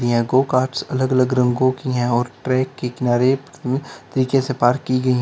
यहां गो अलग अलग रंगों की है और ट्रैक के किनारे तरीके से पार्क की गई है।